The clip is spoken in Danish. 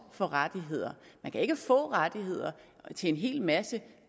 for rettigheder man kan ikke få rettigheder til en hel masse